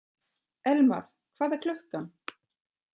Elmar, hvað er klukkan?